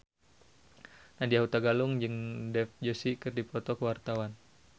Nadya Hutagalung jeung Dev Joshi keur dipoto ku wartawan